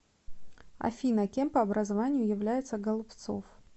афина кем по образованию является голубцов